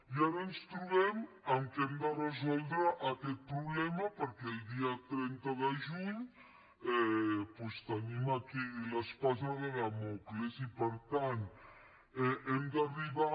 i ara ens trobem que hem de resoldre aquest problema perquè el dia trenta de juny doncs tenim aquí l’espasa de dàmocles i per tant hem d’arribar